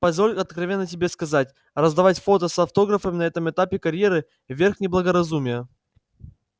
позволь откровенно тебе сказать раздавать фото с автографом на этом этапе карьеры верх неблагоразумия